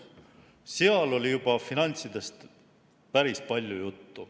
Selles oli finantsteemast juba päris palju juttu.